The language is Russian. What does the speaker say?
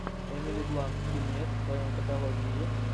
эмили блант фильмец в твоем каталоге есть